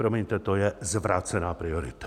Promiňte, to je zvrácená priorita!